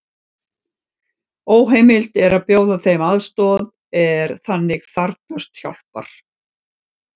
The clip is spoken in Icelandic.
Óheimilt er að bjóða þeim aðstoð er þannig þarfnast hjálpar.